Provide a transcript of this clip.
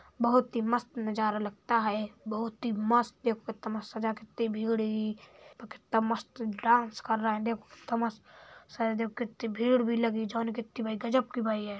बोहोत ही मस्त नज़ारा लगता है। बोहोत ही मस्त कितनी भीड़ है कितना मस्त डांस कर रहा है। --